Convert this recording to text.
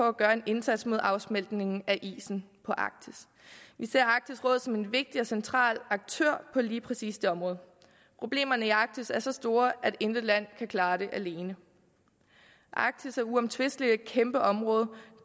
at gøre en indsats mod afsmeltningen af is på arktis vi ser arktisk råd som en vigtig og central aktør på lige præcis det område problemerne i arktis er så store at intet land kan klare dem alene arktis er uomtvisteligt et kæmpe område og